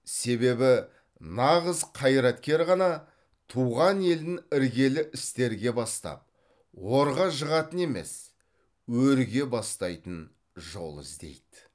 себебі нағыз қайраткер ғана туған елін іргелі істерге бастап орға жығатын емес өрге бастайтын жол іздейді